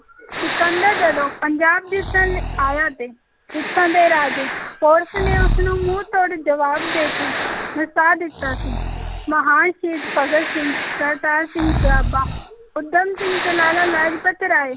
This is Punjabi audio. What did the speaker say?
ਸਿਕੰਦਰ ਜਦੋਂ ਪੰਜਾਬ ਜਿੱਤਣ ਲਈ ਆਇਆ ਤੇ ਇੱਥੋਂ ਦੇ ਰਾਜੇ ਪੋਰਸ ਨੇ ਉਸ ਨੂੰ ਮੂੰਹ ਤੋੜ ਜਵਾਬ ਦੇ ਕੇ ਨਸਾ ਦਿੱਤਾ ਸੀ, ਮਹਾਨ ਸ਼ਹੀਦ ਭਗਤ ਸਿੰਘ, ਕਰਤਾਰ ਸਿੰਘ ਸਰਾਭਾ, ਊਧਮ ਸਿੰਘ ਤੇ ਲਾਲਾ ਲਾਜਪਤ ਰਾਏ